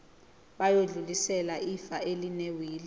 bayodlulisela ifa elinewili